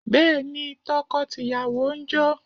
Bẹ́ẹ̀ni, tọkọ tìyàwó ń jó